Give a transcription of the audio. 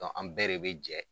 an bɛɛ de be jɛ